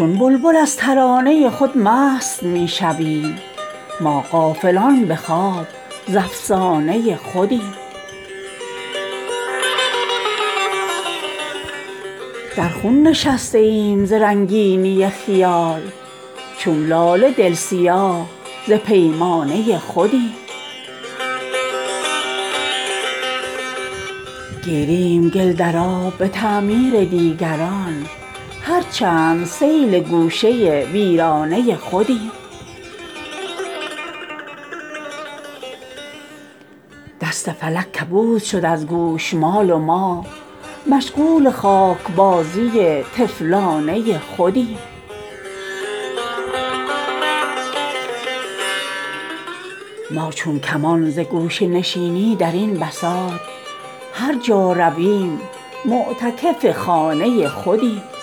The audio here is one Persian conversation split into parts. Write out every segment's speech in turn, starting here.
در نظر واکردنی گردید طی پرواز ما چون شرر در نقطه انجام بود آغاز ما آنچنان کز برگ گردد نکهت گل بیشتر می شود بی پرده تر از پرده پوشی راز ما از نظر بستن ز دنیا شد دل ما کامیاب صید خود را بازیافت در پوشیده چشمی باز ما گرچه شد دست فلک از گوشمال ما کبود می تراود نغمه خارج همان از ساز ما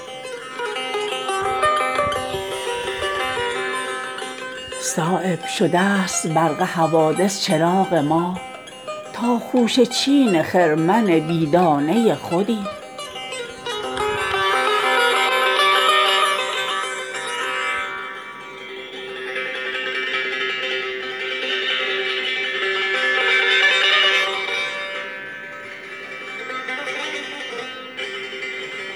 گرچه ما را هست در ظاهر پر و بالی چو تیر هست در دست کمان سر رشته پرواز ما ما میان معنی نازک به دست آورده ایم بهله در دل داغ ها دارد ز دست انداز ما تیغ کوه قاف پیش ما سپر انداخته است کیست عنقا تا تواند گشت هم پرواز ما گوش تا گوش زمین ز آوازه ما پر شده است گرچه از آهستگی نشنیده کس آواز ما گوش خلق افتاده سنگین ورنه گلها می کنند خرده خود را سپند شعله آواز ما می گدازد پرتو خورشید تابان دیده را دست کوته دار ای روشنگر از پرداز ما هر دلی کز بیضه فولاد سنگین تر بود سینه کبک است پیش چنگل شهباز ما دیگران از باده انگور اگر سرخوش شوند هست صایب معنی رنگین می شیراز ما